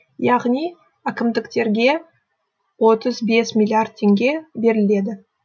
яғни әкімдіктерге отыз бес миллиард теңге беріледі